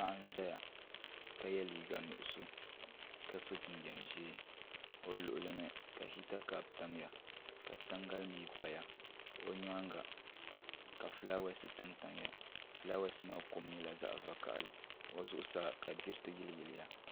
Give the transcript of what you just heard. Paɣa n ʒɛya ka yɛ liiga nuɣuso ka so jinjɛm ʒiɛ o luɣuli ni ka hita kaap tamya ka tangali mii paya o nyaanga ka fulaawaasi tamtamya fulaawaasi maa kom nyɛla zaɣ vakaɣali ka o zuɣusaa ka diriti yiliyiliya